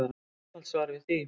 Það er einfalt svar við því.